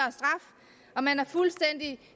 at man har fuldstændig